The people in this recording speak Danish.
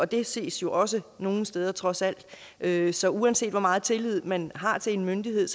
det ses jo også nogle steder trods alt alt så uanset hvor meget tillid man har til en myndighed